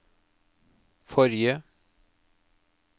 forrige